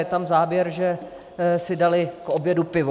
Je tam záběr, že si dali k obědu pivo.